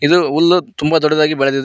ಇದು ಹುಲ್ಲು ತುಂಬ ದೊಡ್ಡದಾಗಿ ಬೆಳದಿದೆ.